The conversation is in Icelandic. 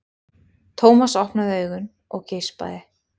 Thomas opnaði augun og geispaði.